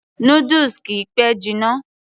noodles kìí pẹ́ jiná